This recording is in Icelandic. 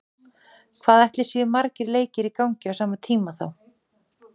Hvað ætli séu margir leikir í gangi á sama tíma þá?